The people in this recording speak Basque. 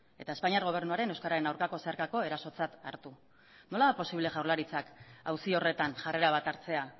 eta espainiar gobernuaren euskararen aurkako zeharkako erasotzat hartu nola da posible jaurlaritzak auzi horretan jarrera bat hartzea